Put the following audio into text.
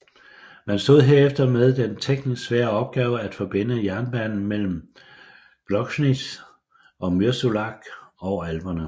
Man stod herefter med den teknisk svære opgave at forbinde jernbanen mellem Gloggnitz og Mürzzuschlag over alperne